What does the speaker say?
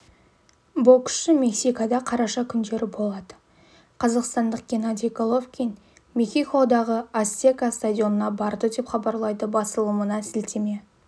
боксшы мексикада қараша күндері болады қазақстандық геннадий головкин мехикодағы ацтека стадионына барды деп хабарлайды басылымына сілтеме